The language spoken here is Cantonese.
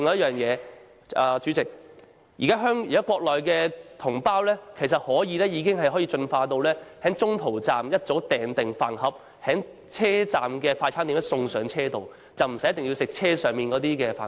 此外，主席，現時國內高鐵乘客已能夠在沿途各站預早訂購飯盒，車站快餐店員工會把飯盒送到車上，乘客無需要吃車上出售的飯盒。